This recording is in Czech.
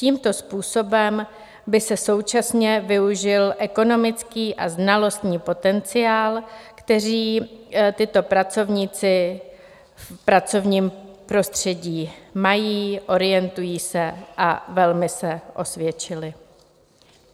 Tímto způsobem by se současně využil ekonomický a znalostní potenciál, který tito pracovníci v pracovním prostředí mají, orientují se a velmi se osvědčili.